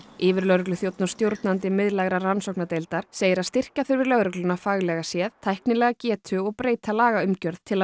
yfirlögregluþjónn og stjórnandi miðlægrar rannsóknardeildar segir að styrkja þurfi lögregluna faglega séð tæknilega getu og breyta lagaumgjörð til að